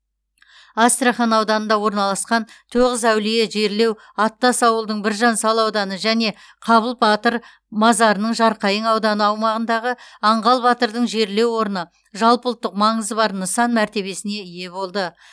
астрахан ауданында орналасқан тоғыз әулие жерлеу аттас ауылдың біржан сал ауданы және қабыл батыр мазарының жарқайың ауданы аумағындағы аңғал батырдың жерлеу орны жалпыұлттық маңызы бар нысан мәртебесіне ие болды